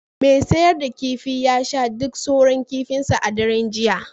mai sayar da kifi ya sha duk sauran kifinsa a daren jiya